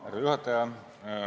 Härra juhataja!